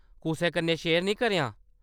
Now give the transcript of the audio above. कुसै कन्नै शेयर निं करेआं ।